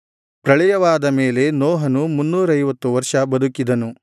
ಪ್ರಳಯವಾದ ಮೇಲೆ ನೋಹನು ಮುನ್ನೂರೈವತ್ತು ವರ್ಷ ಬದುಕಿದನು